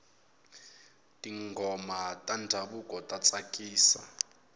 tinghoma ta ndhavuko ta tsakisa